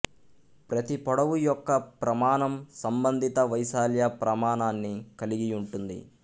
ప్రతి పొడవు యొక్క ప్రమాణం సంబంధిత వైశాల్య ప్రమాణాన్ని కలిగి యుంటుంది